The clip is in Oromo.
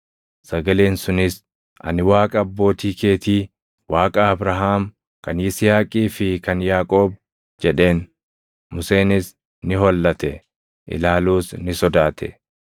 Sagaleen sunis, ‘Ani Waaqa abbootii keetii, Waaqa Abrahaam, kan Yisihaaqii fi kan Yaaqoob’ + 7:32 \+xt Bau 3:6\+xt* jedheen. Museenis ni hollate; ilaaluus ni sodaate.